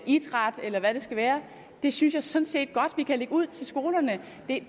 idræt eller hvad det skal være synes jeg sådan set godt vi kan lægge ud til skolerne